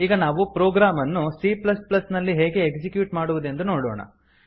ಈಗ ನಾವು ಪ್ರೊಗ್ರಾಮ್ ಅನ್ನು cನಲ್ಲಿ ಹೇಗೆ ಎಕ್ಸಿಕ್ಯೂಟ್ ಮಾಡುವುದೆಂದು ನೋಡೋಣ